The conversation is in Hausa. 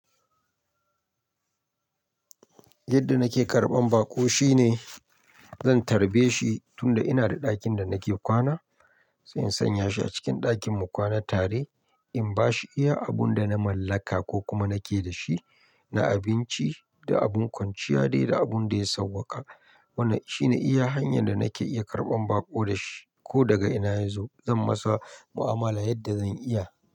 Yadda nake karɓan baƙo shine zan tarbe shi tun da ina da ɗakin da nake kwana, sai in sanya shi a cikin ɗakin mu kwana tare. In bashi iya abun da na mallaka ko kuma nake da shi, na abinci da abun kwanciya dai da abun da ya sauwaƙa. Wannan shine iya hanyar da nake iya karɓan baƙo da shi ko daga ina yazo. Zan masa mu'amala yadda zan iya.